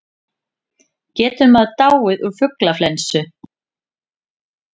Getur maður dáið úr fuglaflensu?